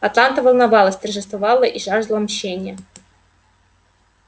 атланта волновалась торжествовала и жаждала мщения